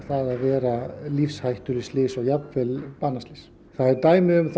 vera lífshættuleg slys og jafnvel banaslys það eru dæmi um